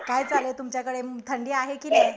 काय चाललंय तुमच्याकडे? थंडी आहे की नाही?